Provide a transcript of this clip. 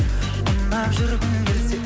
ұнап жүргің келсе